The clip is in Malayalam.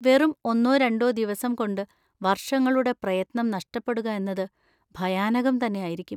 വെറും ഒന്നോ രണ്ടോ ദിവസം കൊണ്ട് വർഷങ്ങളുടെ പ്രയത്നം നഷ്ടപ്പെടുക എന്നത് ഭയാനകം തന്നെ ആയിരിക്കും.